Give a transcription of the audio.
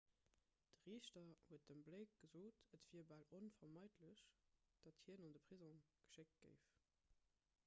de riichter huet dem blake gesot et wier bal onvermeidlech datt hien an de prisong geschéckt géif